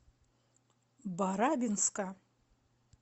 барабинска